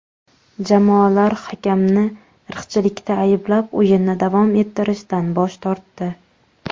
Jamoalar hakamni irqchilikda ayblab o‘yinni davom ettirishdan bosh tortdi.